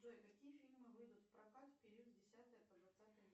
джой какие фильмы выйдут в прокат в период с десятого по двадцатое